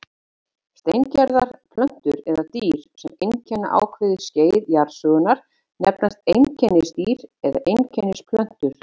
Steingerðar plöntur eða dýr, sem einkenna ákveðið skeið jarðsögunnar, nefnast einkennisdýr eða einkennisplöntur.